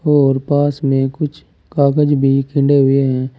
और पास में कुछ कागज भी हुए हैं।